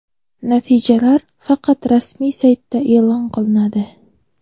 Natijalar faqat rasmiy saytda e’lon qilinadi.